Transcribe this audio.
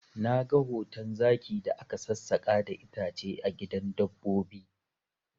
Na ga hoton zaki da ka sassaka da itace a gidan dabbobi